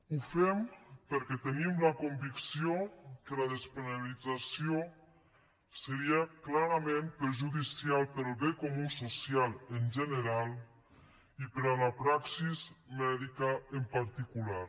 ho fem perquè tenim la convicció que la despenalització seria clarament perjudicial per al bé comú social en general i per a la praxi mèdica en particular